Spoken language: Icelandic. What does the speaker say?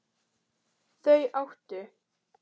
Þau áttu